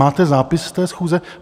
Máte zápis z té schůze?